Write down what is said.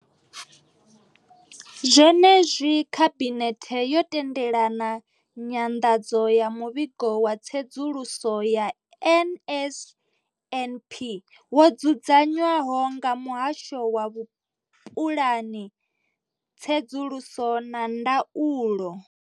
Zwenezwi, khabinethe yo tendela nyanḓadza ya muvhigo wa tsedzuluso ya NSNP wo dzudzanywaho nga muhasho wa vhupuḽani, tsedzuluso na ndaulo.